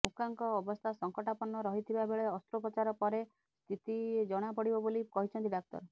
ମୁକାଙ୍କ ଅବସ୍ଥା ସଙ୍କଟାପନ୍ନ ରହି ଥିବା ବେଳେ ଅସ୍ତ୍ରେପୋଚାର ପରେ ସ୍ଥିତି ଜଣା ପଡିବ ବୋଲି କହିଛନ୍ତି ଡାକ୍ତର